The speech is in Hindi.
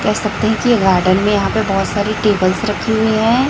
कह सकते हैं कि गार्डन में यहां पे बहोत सारी टेबल्स रखी हुई है।